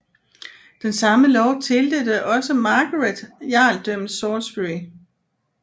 Den samme lov tildelte også Margaret Jarldømmet Salisbury